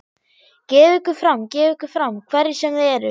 Gefið ykkur fram, gefið ykkur fram, hverjir sem þið eruð.